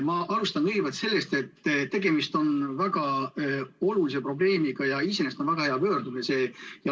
Ma alustan sellest, et tegemist on väga olulise probleemiga ja see on iseenesest väga hea pöördumine.